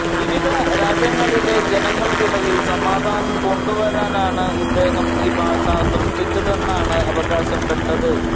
വിവിധ രാജ്യങ്ങളിലെ ജനങ്ങൾക്കിടയിൽ സമാധാനം കൊണ്ടുവരാനാണ് ഇദ്ദേഹം ഈ ഭാഷ സൃഷ്ടിച്ചതെന്നാണ് അവകാശപ്പെട്ടത്